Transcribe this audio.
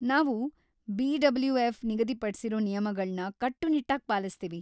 ನಾವು ಬಿ.ಡಬ್ಲ್ಯೂ.ಎಫ್. ನಿಗದಿಪಡ್ಸಿರೋ ನಿಯಮಗಳ್ನ ಕಟ್ಟುನಿಟ್ಟಾಗಿ ಪಾಲಿಸ್ತೀವಿ.